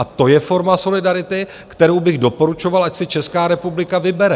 A to je forma solidarity, kterou bych doporučoval, ať si Česká republika vybere.